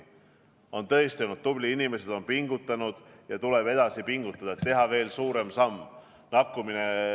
Me oleme tõesti olnud tublid, inimesed on pingutanud, ja nüüd tuleb edasi pingutada, teha veel suurem samm.